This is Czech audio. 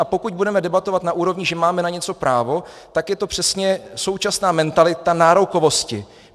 A pokud budeme debatovat na úrovni, že máme na něco právo, tak je to přesně současná mentalita nárokovosti.